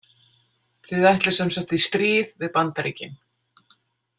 Þið ætlið sem sagt í stríð við Bandaríkin?